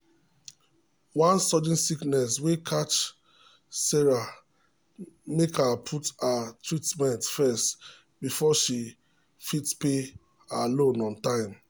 one sudden sickness wey catch sarah make her put her treatment first before she fit pay her loan on time.